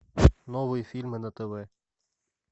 новые фильмы на тв